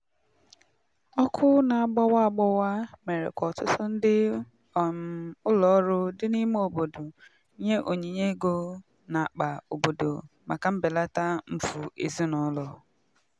ọkụ na-agbawa agbawa mere ka ọtụtụ ndị um ụlọọrụ dị n'ime obodo nye onyinye ego na-akpa obodo maka mbelata mfụ ezinụlọ.